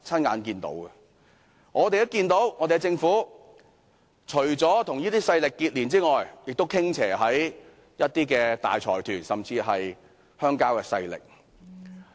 我們看到政府除了與這些勢力連結外，亦向一些大財團甚至鄉郊勢力傾斜。